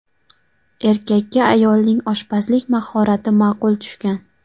Erkakka ayolning oshpazlik mahorati ma’qul tushgan.